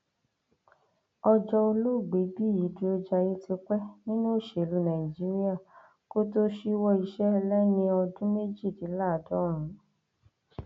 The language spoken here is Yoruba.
ọjọ olóògbé bíyì dúrójayé ti pẹ nínú òṣèlú nàìjíríà kó tóó ṣíwọ iṣẹ lẹni ọdún méjìdínláàádọrùnún